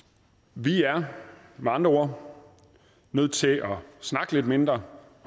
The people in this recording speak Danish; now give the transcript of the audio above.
vi er med andre ord nødt til at snakke lidt mindre